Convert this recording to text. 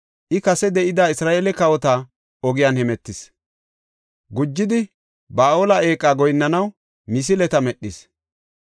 I kase de7ida Isra7eele kawota ogiyan hemetis. Gujidi, Ba7aale eeqa goyinnanaw misileta medhis.